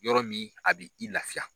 Yɔrɔ min a b' i lafiya.